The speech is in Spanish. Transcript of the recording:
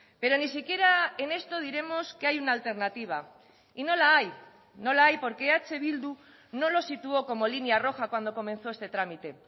pero ni siquiera en esto diremos que hay una alternativa y no la hay no la hay porque eh bildu no lo situó como línea roja cuando comenzó este trámite